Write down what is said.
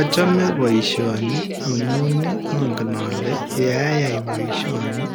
Achame boisioni amuun angen ale ye ayai boisioni